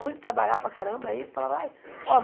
Ruim de trabalhar para caramba. Aí falava ai ó